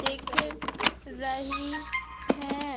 दिख रही है।